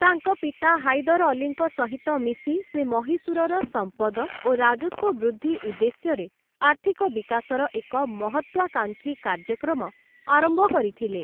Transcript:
ତାଙ୍କ ପିତା ହାଇଦର ଅଲ୍ଲୀଙ୍କ ସହିତ ମିଶି, ସେ ମହୀଶୂରର ସମ୍ପଦ ଓ ରାଜସ୍ୱ ବୃଦ୍ଧି ଉଦ୍ଦେଶ୍ୟରେ ଆର୍ଥିକ ବିକାଶର ଏକ ମହତ୍ତ୍ୱାକାଂକ୍ଷୀ କାର୍ଯ୍ୟକ୍ରମ ଆରମ୍ଭ କରିଥିଲେ ।